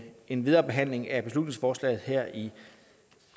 en videre behandling af beslutningsforslaget her i